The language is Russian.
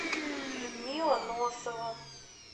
людмила носова